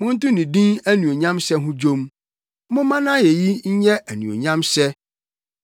Monto ne din anuonyamhyɛ ho dwom; momma nʼayeyi nyɛ anuonyamhyɛ!